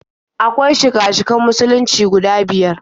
Akwai shika-shikan Musulunci guda biyar.